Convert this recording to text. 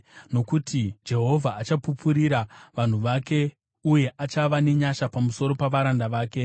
Nokuti Jehovha achapupurira vanhu vake uye achava nenyasha pamusoro pavaranda vake.